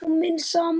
Á minn sann.!